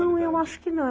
Não, eu acho que não.